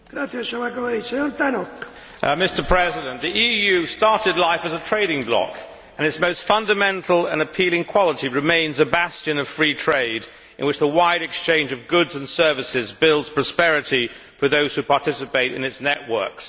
Mr President, the EU started life as a trading bloc, and its most fundamental and appealing quality remains that it is a bastion of free trade in which the wide exchange of goods and services builds prosperity for those who participate in its networks.